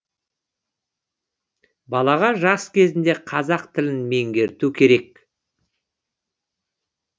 балаға жас кезінде қазақ тілін меңгерту керек